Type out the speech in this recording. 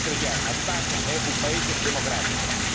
Per essere chiaro la Spagna è un paese democratico